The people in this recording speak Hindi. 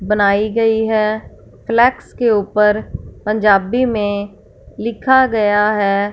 बनाई गई है फ्लेक्स के ऊपर पंजाबी में लिखा गया है।